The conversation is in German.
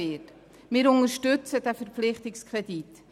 Wir unterstützen diesen Verpflichtungskredit.